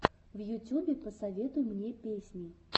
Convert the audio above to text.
в ютюбе посоветуй мне песни